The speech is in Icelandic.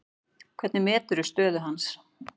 Hvernig meturðu stöðu hans?